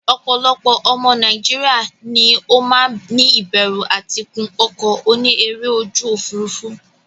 Opolopo omo Nigeria ni o maa ni iberu ati gun oko oni ere oju ofurufu.